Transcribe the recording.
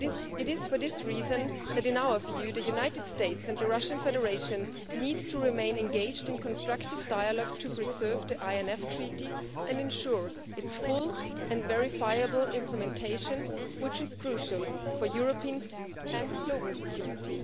It is for this reason that, in our view, the United States and the Russian Federation needs to remain engaged in constructive dialogue to preserve to INF Treaty and ensure its full and verifiable implementation, which is crucial for European and global security.